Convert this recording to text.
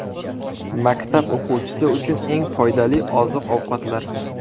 Maktab o‘quvchisi uchun eng foydali oziq-ovqatlar.